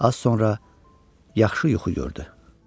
Az sonra yaxşı yuxu gördü.